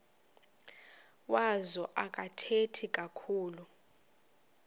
wazo akathethi kakhulu